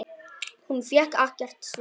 Hún fékk ekkert svar.